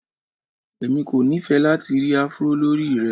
Èmi kò nifẹ́ lati ri Afro lórí rẹ.